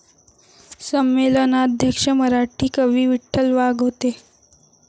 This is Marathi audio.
संमेलनाध्यक्ष मराठी कवी विठ्ठल वाघ होते